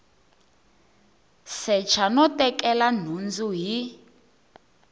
secha no tekela nhundzu hi